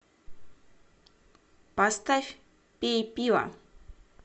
поставь пей пиво